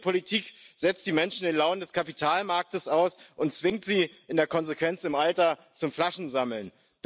Diese Politik setzt die Menschen den Launen des Kapitalmarkts aus und zwingt sie in der Konsequenz im Alter zum Flaschensammeln.